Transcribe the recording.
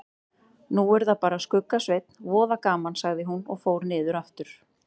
Nú er það bara Skugga-Sveinn, voða gaman sagði hún og fór niður aftur.